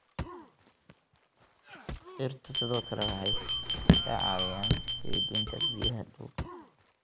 Dhirta sidoo kale waxay ka caawiyaan keydinta biyaha dhulka.